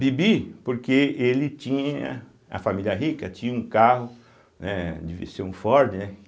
Bibi, porque ele tinha, a família rica tinha um carro, né, devia ser um Ford, né?